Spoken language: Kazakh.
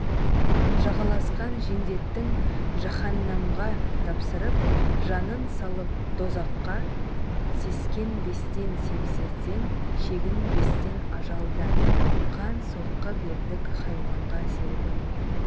жағаласқан жендеттің жаһаннамға тапсырып жанын салып дозаққа сескенбестен семсерден шегінбестен ажалдан қан соққы бердік хайуанға серігім